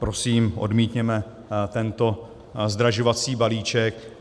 Prosím, odmítněme tento zdražovací balíček.